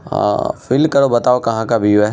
आ-आ-आ fill करो बताओ कहाँ का व्यूव हैं।